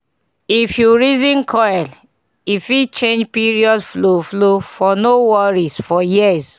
if you reason coil e fit change period flow-- flow-- for no worry for years